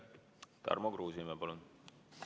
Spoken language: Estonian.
Tarmo Kruusimäe, palun!